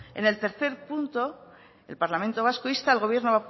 en el tercer punto el parlamento vasco insta al gobierno